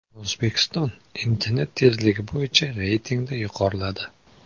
O‘zbekiston internet tezligi bo‘yicha reytingda yuqoriladi.